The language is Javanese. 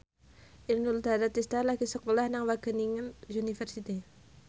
Inul Daratista lagi sekolah nang Wageningen University